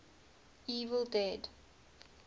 evil dead